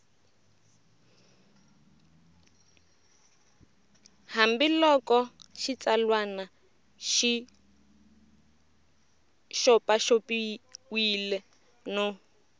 hambiloko xitsalwana xi xopaxopiwile no